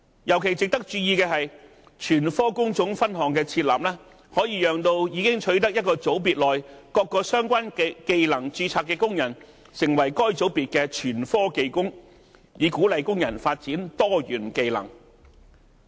尤其值得注意的是，全科工種分項的設立，可以讓已經取得一個組別內各個相關技能註冊的工人，成為該組別的全科技工，以鼓勵工人發展多元技能。